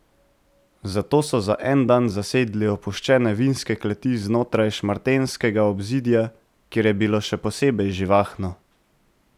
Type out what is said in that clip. Zato so za en dan zasedli opuščene vinske kleti znotraj šmartenskega obzidja, kjer je bilo še posebno živahno.